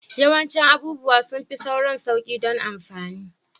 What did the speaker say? Yawancin abubuwa sun fi sauran sauƙi don amfani